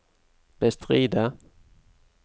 bestride